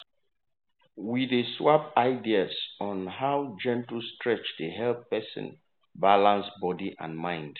we dey swap ideas on how gentle stretch dey help person balance body and mind.